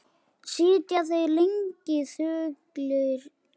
Sitja þeir lengi þögulir eftir.